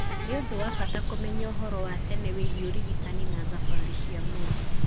Nĩ ũndũ wa bata kũmenya ũhoro wa tene wĩgiĩ ũrigitani na thabarĩ cia mũndũ.